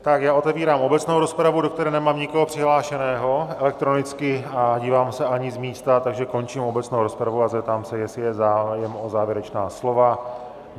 Tak já otevírám obecnou rozpravu, do které nemám nikoho přihlášeného elektronicky, a dívám se, ani z místa, takže končím obecnou rozpravu a zeptám se, jestli je zájem o závěrečná slova.